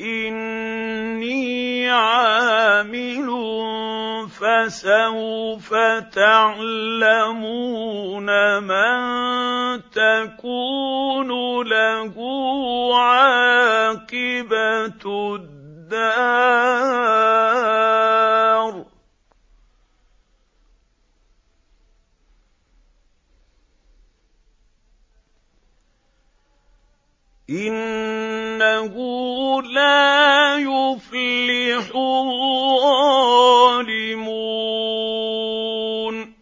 إِنِّي عَامِلٌ ۖ فَسَوْفَ تَعْلَمُونَ مَن تَكُونُ لَهُ عَاقِبَةُ الدَّارِ ۗ إِنَّهُ لَا يُفْلِحُ الظَّالِمُونَ